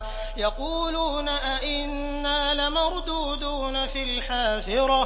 يَقُولُونَ أَإِنَّا لَمَرْدُودُونَ فِي الْحَافِرَةِ